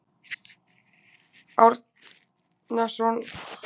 Árnason stjórnaði samkomunni, Thor Vilhjálmsson setti hana og ég flutti ræðu dagsins.